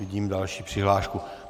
Vidím další přihlášku.